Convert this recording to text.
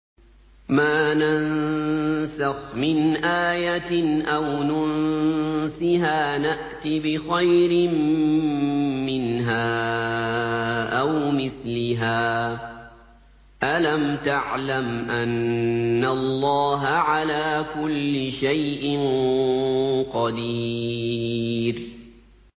۞ مَا نَنسَخْ مِنْ آيَةٍ أَوْ نُنسِهَا نَأْتِ بِخَيْرٍ مِّنْهَا أَوْ مِثْلِهَا ۗ أَلَمْ تَعْلَمْ أَنَّ اللَّهَ عَلَىٰ كُلِّ شَيْءٍ قَدِيرٌ